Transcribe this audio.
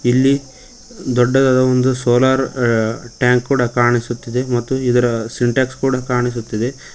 ಇಲ್ಲಿ ದೊಡ್ಡದಾದ ಒಂದು ಸೋಲಾರ್ ಅ ಟ್ಯಾಂಕ್ ಕಾಣಿಸುತ್ತಿದೆ ಮತ್ತು ಇದರ ಸಿಂಟ್ಯಕ್ಸ್ ಕೂಡ ಕಾಣಿಸುತ್ತಿದೆ.